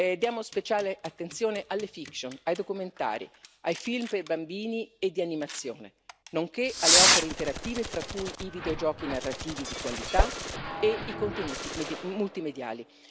Diamo speciale attenzione alle fiction ai documentari, ai film per bambini e di animazione, nonché alle opere interattive fra cui i videogiochi narrativi di qualità e i contenuti multimediali.